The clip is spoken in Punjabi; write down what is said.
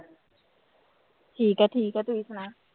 ਠੀਕ ਹੈ ਠੀਕ ਹੈ ਤੁਸੀਂ ਸੁਣਾਓ।